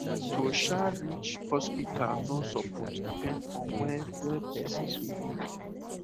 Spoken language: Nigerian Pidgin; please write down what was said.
ehm to um reach hospital no suppose depend on where where person dey live